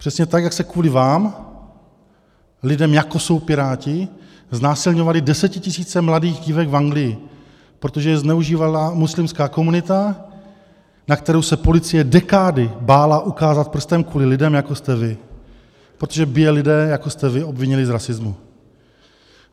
Přesně tak, jak se kvůli vám, lidem, jako jsou Piráti, znásilňovaly desetitisíce mladých dívek v Anglii, protože je zneužívala muslimská komunita, na kterou se policie dekády bála ukázat prstem kvůli lidem, jako jste vy, protože by je lidé, jako jste vy, obvinili z rasismu.